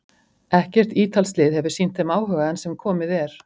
Ekkert ítalskt lið hefur sýnt þeim áhuga enn sem komið er.